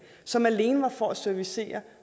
som alene var til for at servicere